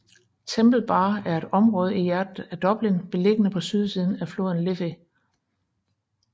Temple Bar er et område i hjertet af Dublin beliggende på sydsiden af floden Liffey